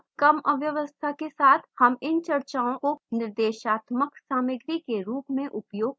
कम अव्यवस्था के साथ हम इन चर्चाओं को निर्देशात्मक सामग्री के रूप में उपयोग कर सकते हैं